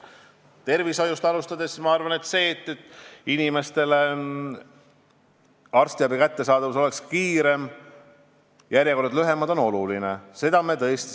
Tervishoiust alustades, ma arvan, et kui arstiabi kättesaadavus on parem ja järjekorrad lühemad, siis see on oluline.